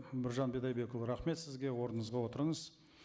біржан бидайдекұлы рахмет сізге орныңызға отырыңыз